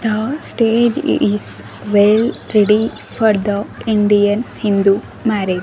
the stage is well ready for the indian hindu marriage.